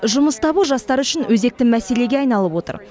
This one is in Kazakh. жұмыс табу жастар үшін өзекті мәселеге айналып отыр